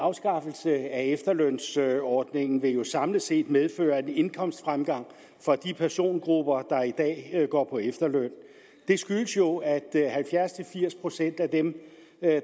afskaffelse af efterlønsordningen vil jo samlet set medføre en indkomstfremgang for de persongrupper der i dag går på efterløn det skyldes jo at halvfjerds til firs procent af dem